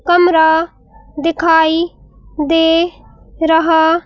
कमरा दिखाई दे रहा--